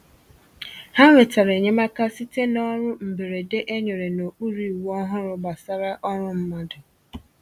Ha nwetàrà enyemaka site n’ọrụ mberede e nyere n’okpuru iwu ọhụrụ gbasàra ọrụ mmadụ